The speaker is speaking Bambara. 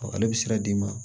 Ale bɛ sira d'i ma